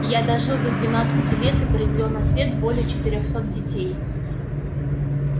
я дожил до двенадцати лет и произвёл на свет более четырёхсот детей